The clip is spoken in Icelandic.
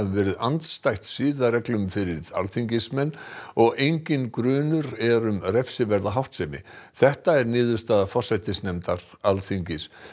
verið andstætt siðareglum fyrir alþingismenn og enginn grunur er um refsiverða háttsemi þetta er niðurstaða forsætisnefndar Alþingis